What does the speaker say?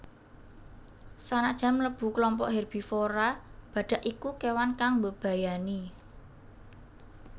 Sanajan mlebu klompok herbivora badhak iku kewan kang mbebayani